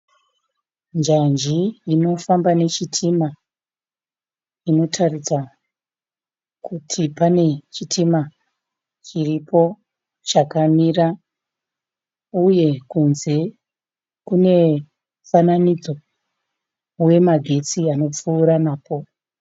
Njanji inofamba nechitima inotaridza kuti pane chitima chiripo chakamira, uye kunze kune mufananidzo wemagetsi anopfuura napo.